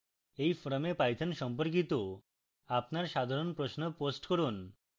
এই forum python সম্পর্কিত আপনার সাধারণ প্রশ্ন post করুন